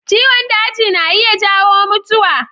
Ciwon daji na iya jawo mutuwa.